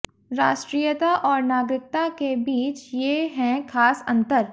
राष्ट्रीयता और नागरिकता के बीच ये हैं खास अंतर